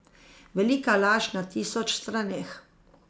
Velika laž na tisoč straneh.